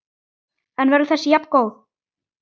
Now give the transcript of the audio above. En verður þessi jafngóð?